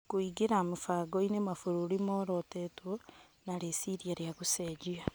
Kũingĩra mũbangoinĩ, mabũrũri morotĩtwo na rĩciria rĩa gũcenjia.